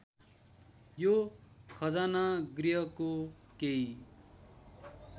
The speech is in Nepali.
यो खजानागृहको केही